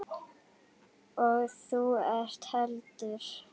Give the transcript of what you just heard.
Og þú ekki heldur.